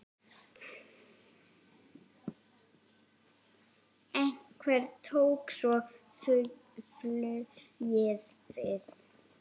Hvenær tók svo flugið við?